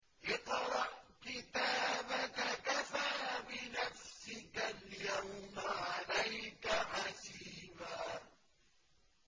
اقْرَأْ كِتَابَكَ كَفَىٰ بِنَفْسِكَ الْيَوْمَ عَلَيْكَ حَسِيبًا